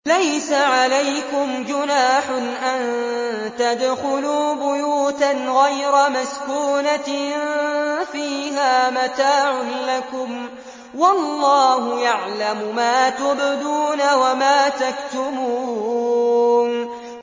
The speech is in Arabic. لَّيْسَ عَلَيْكُمْ جُنَاحٌ أَن تَدْخُلُوا بُيُوتًا غَيْرَ مَسْكُونَةٍ فِيهَا مَتَاعٌ لَّكُمْ ۚ وَاللَّهُ يَعْلَمُ مَا تُبْدُونَ وَمَا تَكْتُمُونَ